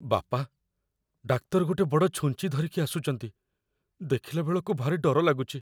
ବାପା, ଡାକ୍ତର ଗୋଟେ ବଡ଼ ଛୁଞ୍ଚି ଧରିକି ଆସୁଚନ୍ତି । ଦେଖିଲାବେଳକୁ, ଭାରି ଡର ଲାଗୁଚି ।